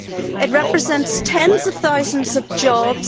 it represents tens of thousands of jobs